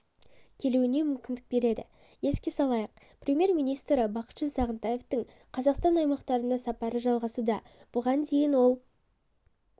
келуіне мүмкіндік береді еске салайық премьер-министрі бақытжан сағынтаевтың қазақстан аймақтарына сапары жалғасуда бұған дейін ол